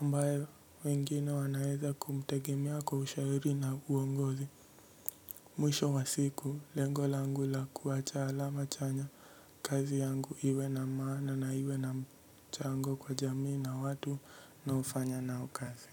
ambaye wengine wanaeza kumtegemea kwa ushauri na uongozi. Mwisho wa siku lengo langu la kuacha alama chanya kazi yangu iwe na maana na iwe namchango kwa jamii na watu naofanya nao kazi.